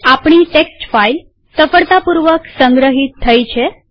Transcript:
આપણી text file સફળતાપૂર્વક સંગ્રહિત થઇ છે